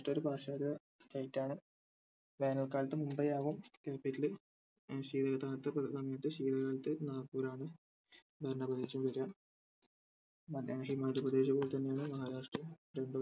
ഒരു പാശ്ചാത്യ state ആണ് വേനൽക്കാലത്ത് മുംബൈ ആകും capital ഏർ ശീതകാലത്ത് ഏർ സമയത്ത് ശീതകാലത്ത് നാഗ്പൂർ ആകും ഭരണപ്രദേശം വരുക. മധ്യ ഏർ മധ്യപ്രദേശ് പോലെതാന്നെ മഹാരാഷ്ട്ര